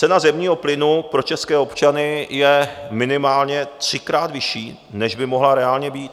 Cena zemního plynu pro české občany je minimálně třikrát vyšší, než by mohla reálně být.